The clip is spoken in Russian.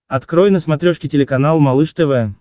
открой на смотрешке телеканал малыш тв